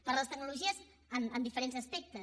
per les tecnologies en diferents aspectes